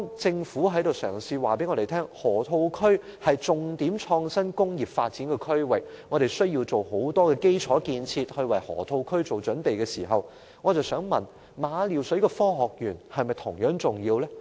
政府嘗試告訴我們，河套區是重點創新工業發展區域，我們必須進行很多基礎建設為河套區做準備，但我想問政府：馬料水的科學園是否同樣重要呢？